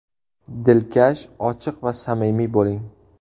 Dilkash, ochiq va samimiy bo‘ling.